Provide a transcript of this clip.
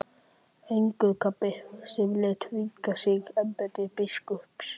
Angurgapi sem lét þvinga sig í embætti biskups.